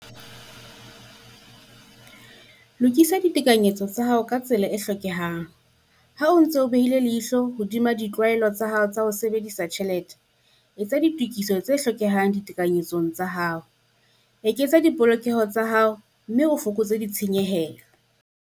Lokisa ditekanyetso tsa hao ka tsela e hlokehang - Ha o ntse o behile leihlo hodima ditlwaelo tsa hao tsa ho sebedisa tjhelete, etsa ditokiso tse hlokehang ditekanyetsong tsa hao, eketsa dipolokeho tsa hao mme o fokotse ditshenyehelo.